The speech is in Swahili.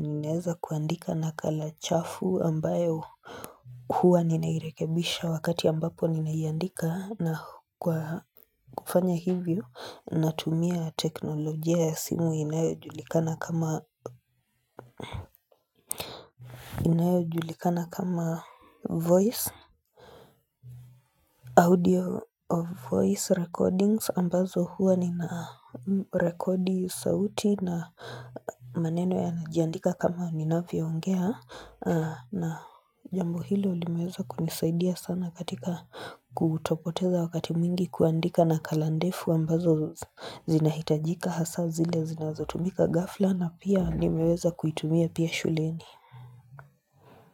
ninaeza kuandika nakala chafu ambayo huwa ninairekebisha wakati ambapo ninaiandika na kufanya hivyo Natumia teknolojia ya simu inayojulikana kama inayojulikana kama voice audio of voice recordings ambazo hua ninarekodi sauti na maneno yanajiandika kama ninavyoongea na jambo hilo limeweza kunisaidia sana katika kutopoteza wakati mwingi kuandika nakala ndefu ambazo zinahitajika hasa zile zinazotumika ghafla na pia nimeweza kuitumia pia shuleni.